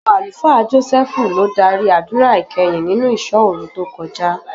Ọmọ Àlùfáà Jọ́sẹ́ẹ́fù ló dárí àdúrà ìkẹyìn nínú ìṣọ́òru tó kọjá.